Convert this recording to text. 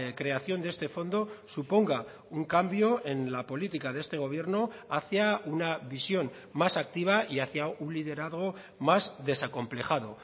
creación de este fondo suponga un cambio en la política de este gobierno hacia una visión más activa y hacia un liderazgo más desacomplejado